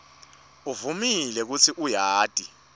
uvumile kutsi uyati